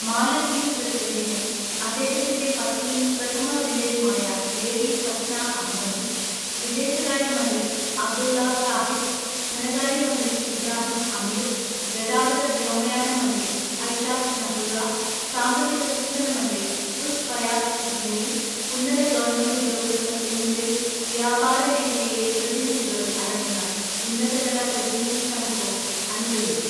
മാലദ്വീപ് പ്രസിഡന്റിനെ, അദ്ദേഹത്തിന്റെ പത്നിയും പ്രഥമ വനിതയുമായ ലേഡി ഫസ്ന അഹമ്മദും വിദേശകാര്യ മന്ത്രി അബ്ദുള്ള ഷാഹിദ്, ധനകാര്യമന്ത്രി ഇബ്രാഹിം അമീര്‍, ഗതാഗത വ്യോമയാന മന്ത്രി ഐഷാദ് നഹുള്ള സാമ്പത്തിക വികസന മന്ത്രി ഉസ് ഫയാസ് ഇസ്മേയില്‍, ഉന്നത ഗവണ്മെന്റ് ഉദ്യോഗസ്ഥര്‍ എന്നിവരും വ്യാപാരമേഖലയിലെ പ്രതിനിധികളും അടങ്ങുന്ന ഉന്നതതല പ്രതിനിധി സംഘവും അനുഗമിച്ചു.